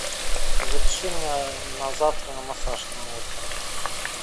запиши меня на завтра на массаж на утро